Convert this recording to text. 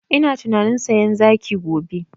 Ina tunanin sayan zaki gobe